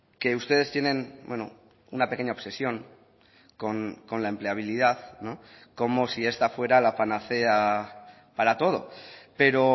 que ustedes tienen una pequeña obsesión con la empleabilidad como si esta fuera la panacea para todo pero